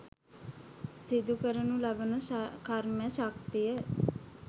සිදුකරනු ලබන කර්ම ශක්තිය